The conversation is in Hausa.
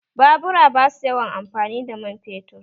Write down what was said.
Babura ba su yawan amfani da man fetur